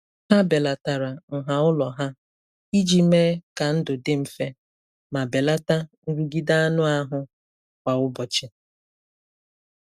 Ha belatara nha ụlọ ha iji mee ka ndụ dị mfe ma belata nrụgide anụ ahụ kwa ụbọchị.